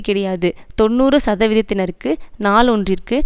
கிடையாது தொன்னூறு சதவிதத்தினருக்கு நாள் ஒன்றிற்கு